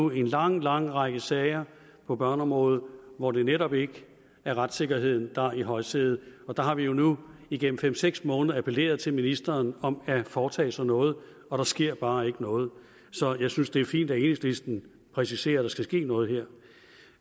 en lang lang række sager på børneområdet hvor det netop ikke er retssikkerheden der er i højsædet og der har vi nu igennem fem seks måneder appelleret til ministeren om at foretage sig noget og der sker bare ikke noget så jeg synes at det er fint at enhedslisten præciserer at der skal ske noget her